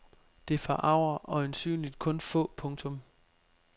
Det forarger øjensynligt kun få. punktum